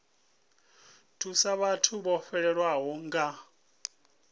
thusa vhathu vho fhelelwaho nga